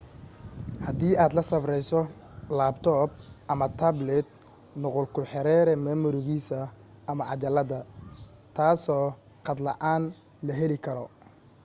hadii aad la safrayso laabtoob ama taablit nuqul ku xeree mimorigiisa ama cajalada taasoo khad la’aan la heli karo